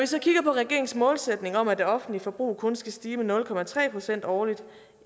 så kigger på regeringens målsætning om at det offentlige forbrug kun skal stige med nul procent årligt